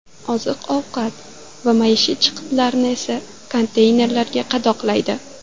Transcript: Oziq-ovqat va maishiy chiqitlarni esa konteynerlarga qadoqlaydi.